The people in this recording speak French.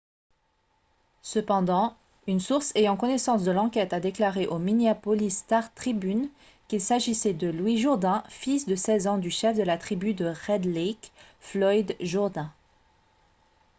cependant une source ayant connaissance de l'enquête a déclaré au minneapolis star-tribune qu'il s'agissait de louis jourdain fils de 16 ans du chef de la tribu de red lake floyd jourdain